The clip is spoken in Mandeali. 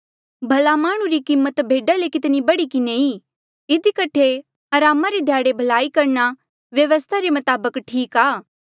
भला माह्णुं री कीमत भेडा ले कितनी बढ़ी किन्हें ई इधी कठे अरामा रे ध्याड़े भलाई करणा व्यवस्था रे मताबक ठीक आ